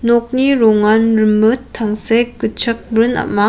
nokni rongan rimit tangsek gitchak brin am·a.